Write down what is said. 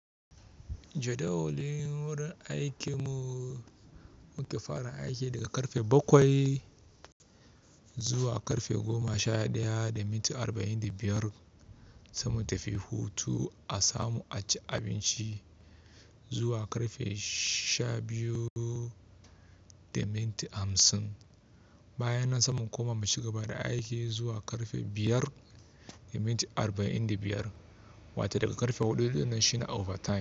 Jadawalin wurin aikin mu muke fara aiki daga karfe bakwai zuwa karfe goma sha ɗaya da minti arba'in da biyar. Sai mu tafi hutu a samu a ci abinci zuwa karfe sha biyu da minti hamsin. Bayanan saman koma mu cigaba da aiki zuwa karfe biyar da minti arba'in da biyar wata daga karfe huɗu da na shina overtime.